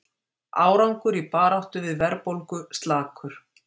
Árangur í baráttu við verðbólgu slakur